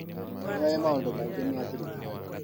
Nĩoĩ maũndũ maingĩ ma thirikari